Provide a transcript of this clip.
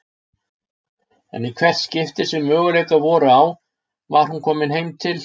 En í hvert skipti sem möguleikar voru á var hún komin heim til